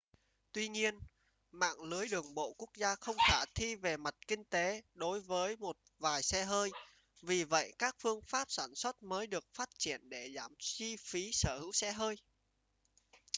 tuy nhiên mạng lưới đường bộ quốc gia không khả thi về mặt kinh tế đối với một vài xe hơi vì vậy các phương pháp sản xuất mới được phát triển để giảm chi phí sở hữu xe hơi